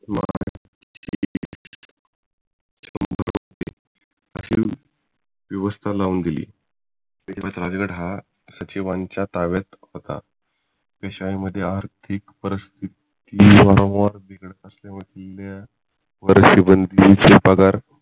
असी व्यवस्था लावून दिली राजगड हा सचिवांच्या ताब्यात होतं ठीक परिस्थिती व्यवहार बिघडत असल्यामुळे किल्ला वरती बंदी पगार